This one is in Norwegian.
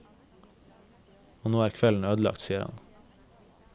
Og nå er kvelden ødelagt, sier han.